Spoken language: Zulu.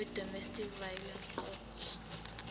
wedomestic violence act